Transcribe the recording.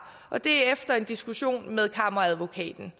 og det sker efter en diskussion med kammeradvokaten